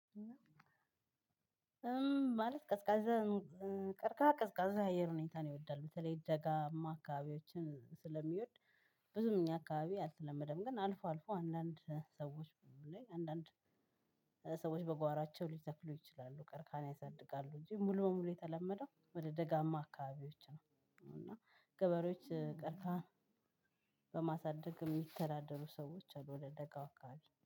ማለት ቀዝቃዛ ቀርቃሃ ቀዝቃዛ የአየር ሁኔታን ይወዳል በተለይ ደጋማ አካባቢዎችን ስለሚወድ። ብዙም እኛ አካባቢ አልተለመደም። ግን አልፎ አልፎ አንዳንድ ሰዎች ላይ አንዳንድ ሰዎች በጓራቸው ሊተክሉ ይችላሉ ቀርቃሀኝ ያሳድጋሉ። እንጂ ሙሉ ሙሉ የተለመደው ወደ ደጋማ አካባቢዎች ነው። እና ገበሬዎች ቀርቃሃ በማሳደግ የሚተዳደሩ ሰዎች አሉ። ወደ ደጋው ካሉ